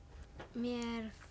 mér